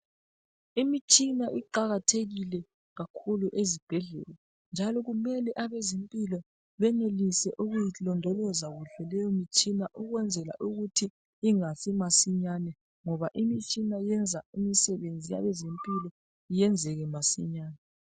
Imitshina iqakathekile kakhulu ezibhedlela njalo kumele abezempilo benelise ukuyilondoloza kuhle leyo mitshina ukwenzela ukuthi ingafi masinyane ngoba imitshina iyenza imisebenzi yabezempilo yenzeke masinyane.